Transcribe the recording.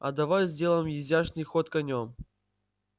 а давай сделаем изящный ход конём